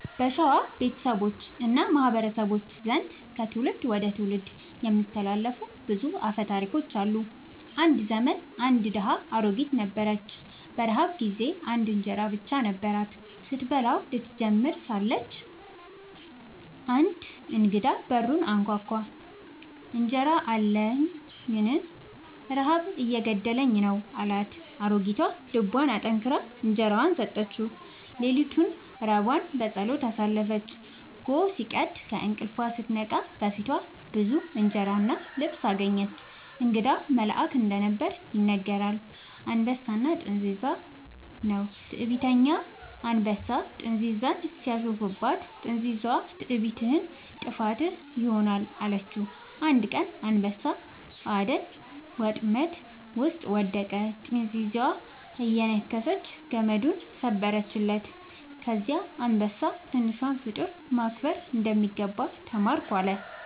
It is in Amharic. በሸዋ ቤተሰቦች እና ማህበረሰቦች ዘንድ ከትውልድ ወደ ትውልድ የሚተላለፉ ብዙ አፈ ታሪኮች አሉ። አንድ ዘመን አንድ ድሃ አሮጊት ነበረች። በረሃብ ጊዜ አንድ እንጀራ ብቻ ነበራት። ስትበላው ልትጀምር ሳለች አንድ እንግዳ በሩን አንኳኳ፤ «እንጀራ አለኝን? ረሃብ እየገደለኝ ነው» አላት። አሮጊቷ ልቧን አጠንክራ እንጀራዋን ሰጠችው። ሌሊቱን ራቧን በጸሎት አሳለፈች። ጎህ ሲቀድ ከእንቅልፏ ስትነቃ በፊቷ ብዙ እንጀራ እና ልብስ አገኘች። እንግዳው መልአክ እንደነበር ይነገራል። «አንበሳና ጥንዚዛ» ነው። ትዕቢተኛ አንበሳ ጥንዚዛን ሲያሾፍባት፣ ጥንዚዛዋ «ትዕቢትህ ጥፋትህ ይሆናል» አለችው። አንድ ቀን አንበሳ በአደን ወጥመድ ውስጥ ወደቀ፤ ጥንዚዛዋ እየነከሰች ገመዱን ሰበረችለት። ከዚያ አንበሳ «ትንሿን ፍጡር ማክበር እንደሚገባ ተማርኩ» አለ